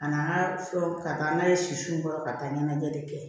A n'an ka fɛnw ka taa n'a ye siw kɔrɔ ka taa ɲɛnajɛ de kɛ